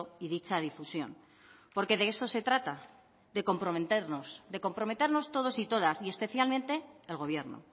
y dicha difusión porque de eso se trata de comprometernos de comprometernos todos y todas y especialmente el gobierno